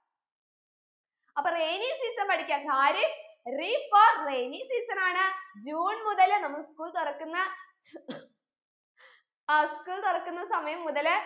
അപ്പൊ rainy season പഠിക്ക ഖാരിഫ് റീ for rainy season ആണ് ജൂൺ മുതൽ നമ്മളെ school തുറക്കുന്ന ആ school തുറക്കുന്ന സമയം മുതല്